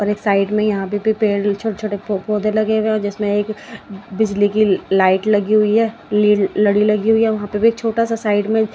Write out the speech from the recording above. और एक साइड में यहां पे भी पेड़ छोटे छोटे पौधे लगे हुए और जिसमें एक बिजली की लाइट लगी हुई है ली लड़ी लगी हुई है वहां पे भी एक छोटा सा साइड में--